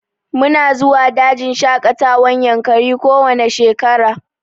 Mu na zuwa dajin shaƙatawan yankari ko wanne shekara